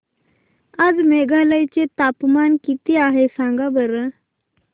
आज मेघालय चे तापमान किती आहे सांगा बरं